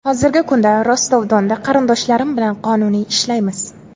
Hozirgi kunda Rostov-Donda qarindoshlarim bilan qonuniy ishlaymiz.